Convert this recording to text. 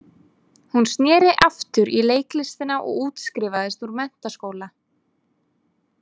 Hún sneri aftur í leiklistina og útskrifaðist úr menntaskóla.